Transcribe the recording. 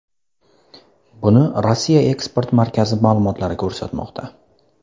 Buni Rossiya eksport markazi ma’lumotlari ko‘rsatmoqda .